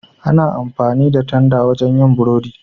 Ana amfani da tanda wajen yin burodi.